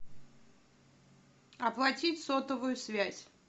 оплатить сотовую связь